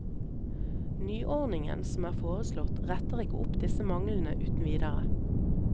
Nyordningen som er foreslått, retter ikke opp disse manglene uten videre.